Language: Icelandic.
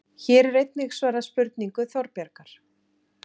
Hér er einnig svarað spurningu Þorbjargar: